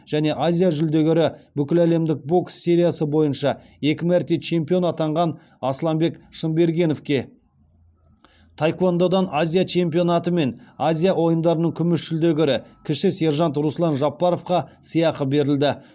және азия жүлдегері бүкіләлемдік бокс сериясы бойынша екі мәрте чемпион атанған асланбек шынбергеновке таеквондодан азия чемпионаты мен азия ойындарының күміс жүлдегері кіші сержант руслан жапаровқа сыйақы берілді